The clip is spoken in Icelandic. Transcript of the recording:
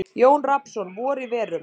Jón Rafnsson: Vor í verum.